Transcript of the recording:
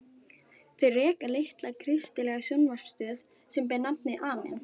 Þau reka litla kristilega sjónvarpsstöð sem ber nafnið Amen.